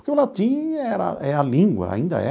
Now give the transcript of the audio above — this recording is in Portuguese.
Porque o latim era é a língua, ainda é.